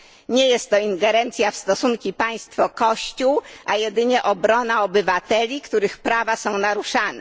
Nie jest to ingerencja w stosunki państwo kościół, a jedynie obrona obywateli, których prawa są naruszane.